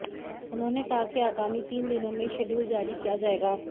उन्होंने कहा कि आगामी तीन दिनों में शेड्युल जारी किया जाएगा